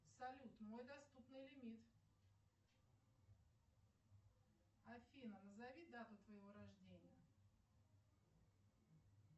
салют мой доступный лимит афина назови дату твоего рождения